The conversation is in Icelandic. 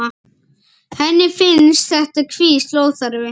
Henni finnst þetta hvísl óþarft.